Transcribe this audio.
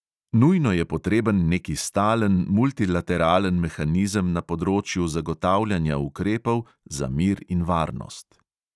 Nujno je potreben neki stalen multilateralen mehanizem na področju zagotavljanja ukrepov za mir in varnost.